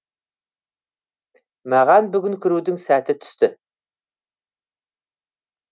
маған бүгін кірудің сәті түсті